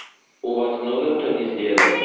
у вас много кто не сделал